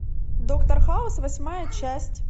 доктор хаус восьмая часть